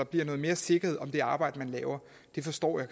bliver noget mere sikkerhed om det arbejde man laver det forstår jeg